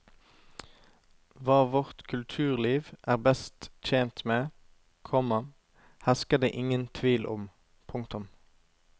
Hva vårt kulturliv er best tjent med, komma hersker det ingen tvil om. punktum